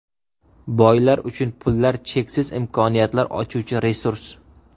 Boylar uchun pullar cheksiz imkoniyatlar ochuvchi resurs.